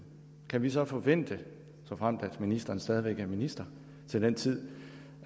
kan vi så forvente såfremt ministeren stadig væk er minister til den tid